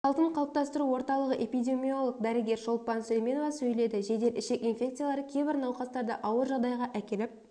салтын қалыптастыру орталығы эпидемиолог дәрігері шолпан сулейменова сөйледі жедел ішек инфекциялары кейбір науқастарды ауыр жағдайға әкеліп